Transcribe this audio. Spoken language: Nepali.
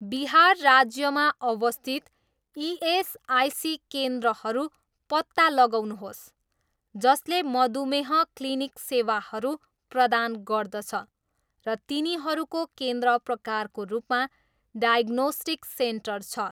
बिहार राज्यमा अवस्थित इएसआइसी केन्द्रहरू पत्ता लगाउनुहोस् जसले मधुमेह क्लिनिक सेवाहरू प्रदान गर्दछ र तिनीहरूको केन्द्र प्रकारको रूपमा डायग्नोस्टिक सेन्टर छ।